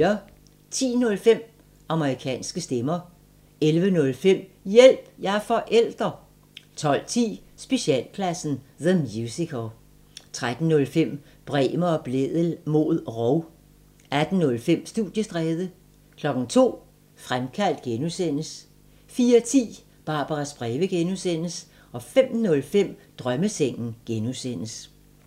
10:05: Amerikanske stemmer 11:05: Hjælp – jeg er forælder! 12:10: Specialklassen – The Musical 13:05: Bremer og Blædel mod rov 18:05: Studiestræde 02:00: Fremkaldt (G) 04:10: Barbaras breve (G) 05:05: Drømmesengen (G)